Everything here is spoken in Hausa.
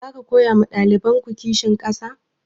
Zaku koya ma ɗalibanku kishin ƙasa?